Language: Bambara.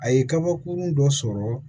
A ye kabakurun dɔ sɔrɔ